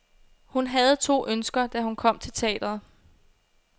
Hun havde to ønsker, da hun kom til teatret.